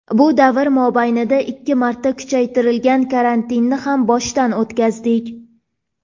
Bu davr mobaynida ikki marta kuchaytirilgan karantinni ham boshdan o‘tkazdik.